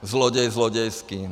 Zloděj zlodějský.